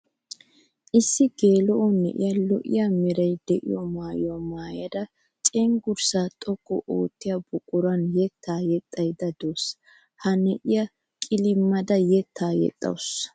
Issi geela'o na'iya lo'iya meray de'iyo maayuwa maayadda cenggurssa xoqqu oottiya buquran yetta yexxaydde de'awussu. Ha na'iya qilimmada yetta yexxawussu.